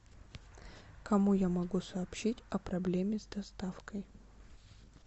кому я могу сообщить о проблеме с доставкой